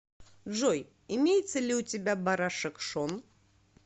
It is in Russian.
джой имеется ли у тебя барашек шон